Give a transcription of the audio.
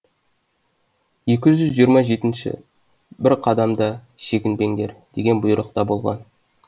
екі жүз жиырма жетінші бір қадам да шегінбеңдер деген бұйрық та болған